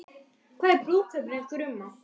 Hvað er brúðkaup án brúðguma?